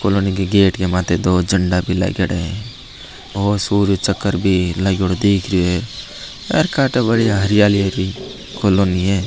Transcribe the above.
कॉलोनी के गेट के माते दो झंडा भी लागेडा है और सूर्य चक्र भी लग्योडा दीख रेहो है और बढ़िया हरियाली वाली कालोनी है।